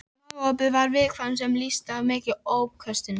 Magaopið var viðkvæmt sem lýsti sér í miklum uppköstum.